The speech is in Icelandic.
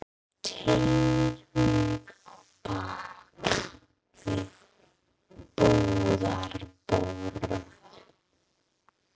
Teymir mig á bak við búðarborð.